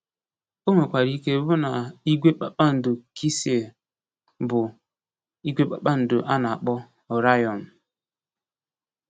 O nwekwara ike ịbụ na “igwe kpakpando Kisịl” bụ igwe kpakpando a na-akpọ Orayọn.